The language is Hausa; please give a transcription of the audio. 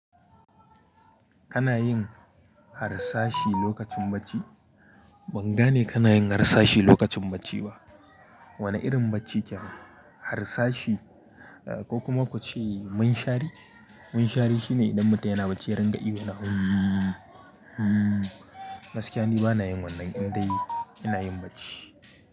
Kana yin harsashi lokacin bacci? Ban gane kana yin harsashi lokacin bacci ba. Wane irin bacci kyan yi? Harsashi, eh ko kuma ku ce munshari? Munshari shine idan mutum yana bacci yana riga ihu na "hummm, hummm". Gaskiya ni bana yin wannan indai ina yin bacci.